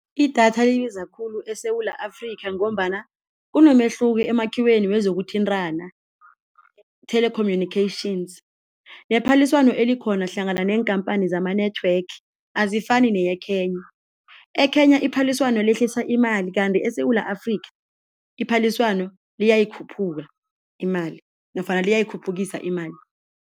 Idatha libiza khulu eSewula Afrika ngombana kunomehluko emakhiweni yezokuthintana telecommunications yephaliswano elikhona hlangana neenkhamphani zama-network, azifani neye-Kenya. E-Kenya iphaliswano yehlisa imali kanti eSewula Afrika iphaliswano liyakhuphuka imali nofana liyayikhuphukisa imali.